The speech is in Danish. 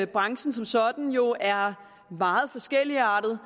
branchen som sådan jo er meget forskelligartet